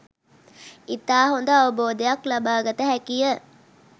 ඉතා හොඳ අවබෝධයක් ලබා ගත හැකිය.